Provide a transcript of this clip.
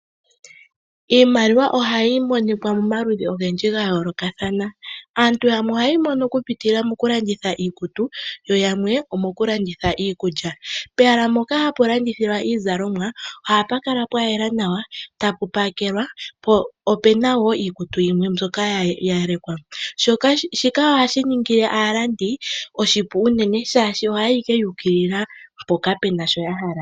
Iimaliwa ohayi monika momaludhi ogendji ga yoolokathana. Aantu yamwe ohaye yi mono okupitila mokulanditha iikutu, yo yamwe, omokulanditha iikulya. Pehala mpoka hapu landithilwa iizalomwa, ohapu kala pwayela nawa, tapu pakelwa, po opuna wo iikutu yimwe mbyoka ya lekwa. Shoka, ohashi ningile aalandi oshipu unene shaashi ohaya yi ashike yu ukilila mpoka puna shoka ya hala.